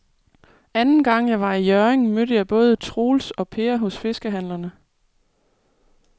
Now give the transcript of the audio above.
Anden gang jeg var i Hjørring, mødte jeg både Troels og Per hos fiskehandlerne.